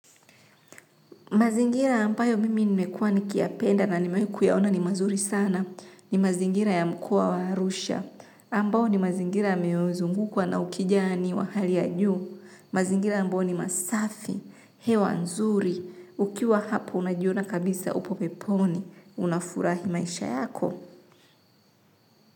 Mazingira ambayo mimi nimekuwa nikiyapenda na nimewahi kuyaona ni mazuri sana ni mazingira ya mkoa wa Arusha. Ambao ni mazingira ya meozungukwa na ukijani wa hali ya juu. Mazingira ambayo ni masafi hewa nzuri ukiwa hapo unajiona kabisa upo peponi, unafurahi maisha yako.